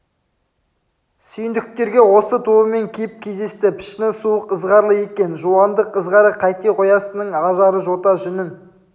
сүйіндіктерге осы тобымен кеп кездесті пішіні суық ызғарлы екен жуандық ызғары қайте қоясынның ажары жота жүнін